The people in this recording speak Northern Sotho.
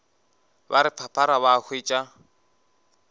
ba re phaphara ba hwetša